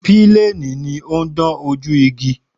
Píléènì ni ó ń dán ojú igi